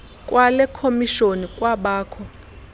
kwale khomishoni kwabakho